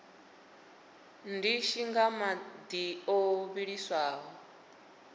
ndishi nga madi o vhiliswaho